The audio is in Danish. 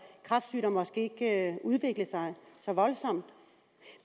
kræftsygdom måske ikke udviklet sig så voldsomt